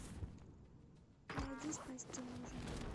найди спасти мужа